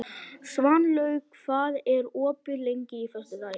Svanlaug, hvað er opið lengi á föstudaginn?